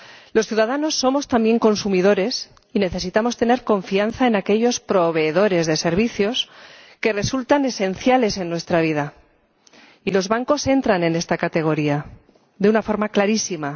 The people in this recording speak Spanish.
Los ciudadanos somos también consumidores y necesitamos tener confianza en aquellos proveedores de servicios que resultan esenciales en nuestra vida, y los bancos entran en esta categoría de una forma clarísima.